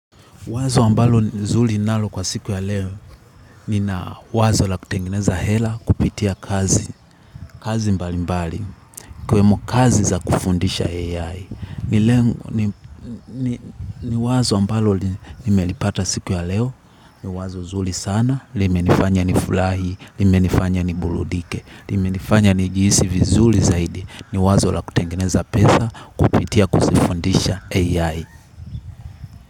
Wazo ambalo nzuri ninalo kwa siku ya leo nina wazo la kutengeneza hela kupitia kazi, kazi mbali mbali ikiwemo kazi za kufundisha AI. Ni wazo ambalo nimelipata siku ya leo ni wazo nzuri sana, limenifanya ni furahi, limenifanya ni burudike, limenifanya ni jihisi vizuri zaidi ni wazo la kutengeneza pesa kupitia kuzifundisha AI.